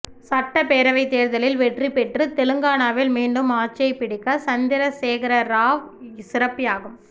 சட்டப்பேரவை தேர்தலில் வெற்றி பெற்று தெலங்கானாவில் மீண்டும் ஆட்சியை பிடிக்க சந்திரசேகரராவ் சிறப்பு யாகம்